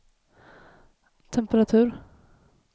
temperatur